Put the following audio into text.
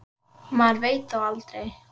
Maður veit þó aldrei.